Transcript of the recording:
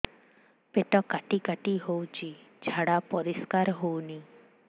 ପେଟ କାଟି କାଟି ହଉଚି ଝାଡା ପରିସ୍କାର ହଉନି